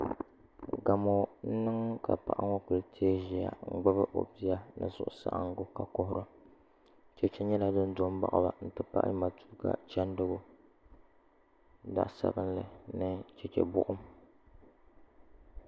Gamo n niŋ ka paɣa ŋo ku teei ʒiya n gbubi o bia ni suhusaɣangu ka kuhura chɛchɛ nyɛla din do n baɣaba n ti pahi matuuka chɛndigu zaɣ sabinli ni chɛchɛ buɣum